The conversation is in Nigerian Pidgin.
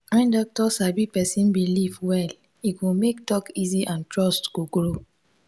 when doctor sabi person belief well e go make talk easy and trust go grow.